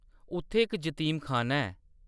उत्थै इक जतीमखाना ऐ।